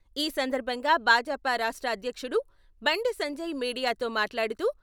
ఈ సందర్భంగా భాజపా రాష్ట్ర అధ్యక్షుడు బండి సంజయ్ మీడియాతో మాట్లాడుతూ...